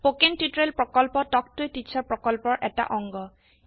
spoken টিউটোৰিয়েৰ প্ৰকল্প তাল্ক ত a টিচাৰ প্ৰকল্পৰ এটা অংগ